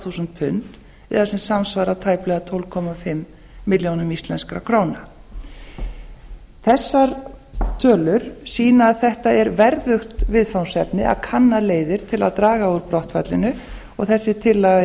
þúsund pund eða sem samsvarar tæplega tólf og hálfa milljón íslenskra króna þessar tölur sýna að þetta er verðugt viðfangsefni að kanna leiðir til að draga úr brottfallinu og þessi tillaga